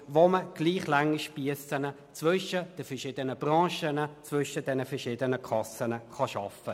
Damit kann man gleichlange Spiesse zwischen den verschiedenen Branchen und den verschiedenen Kassen schaffen.